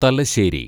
Thalassery